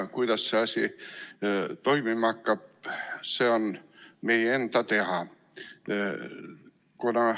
Kuidas see asi toimima hakkab, see on meie enda teha.